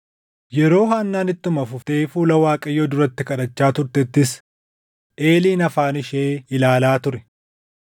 Yeroo Haannaan ittuma fuftee fuula Waaqayyoo duratti kadhachaa turtettis Eeliin afaan ishee ilaalaa ture.